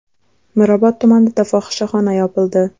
Mirobod tumanida fohishaxona yopildi.